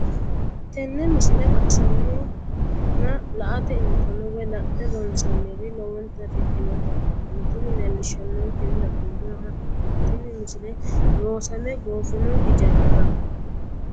tenne misile baxisannonna la"ate injiitanno woy la'ne ronsannire lowote afidhinota ikkitanna tini leellishshannonkeri la'nummoha ikkiro tini misile loosame goofino ijaaraho.